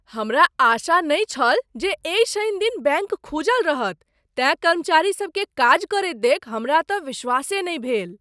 हमरा आशा नहि छल जे एहि शनि दिन बैंक खुजल रहत तेँ कर्मचारीसभकेँ काज करैत देखि हमरा तँ विश्वासे नहि भेल।